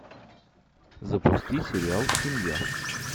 запусти сериал семья